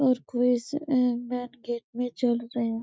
और कोई इस अ मैंन गेट में चढ़ रया --.